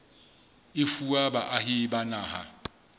e fuwa baahi ba naha